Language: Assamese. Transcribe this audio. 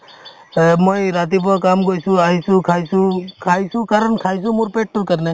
এহ্ মই ৰাতিপুৱা কাম গৈছো আহিছো খাইছো খাইছো কাৰণ খাইছো মোৰ পেটতোৰ কাৰণে